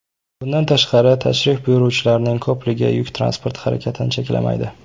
Bundan tashqari, tashrif buyuruvchilarning ko‘pligi yuk transporti harakatini cheklamaydi.